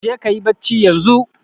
Jeka kayi bacci yanzu.